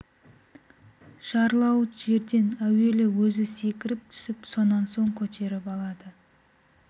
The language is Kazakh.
жарлауыт жерден әуелі өзі секіріп түсіп сонан соң көтеріп алады